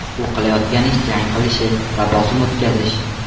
U qilayotgan ish jang qilishi va bosim o‘tkazish.